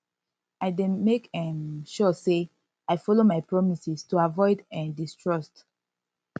i dey make um sure say i follow my promises to avoid um distrust